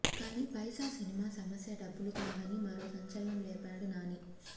కానీ పైసా సినిమా సమస్య డబ్బులు కావని మరో సంచలనం లేపాడు నాని